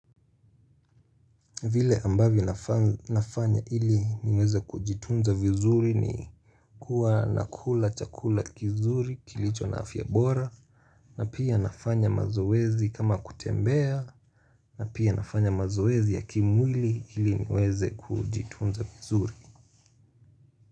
Vile ambavyo nafanya ili niweze kujitunza vizuri ni kuwa nakula chakula kizuri kilicho na afyabora na pia nafanya mazoezi kama kutembea na pia nafanya mazoezi ya kimwili ili niweze kujitunza vizuri.